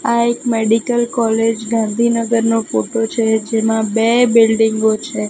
આ એક medical college ગાંધીનગરનો ફોટો છે જેમાં બે બિલ્ડીંગો છે.